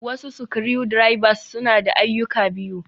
Wasu screw drivers, suna da ayyuka biyu.